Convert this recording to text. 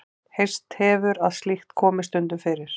Heyrst hefur að slíkt komi stundum fyrir.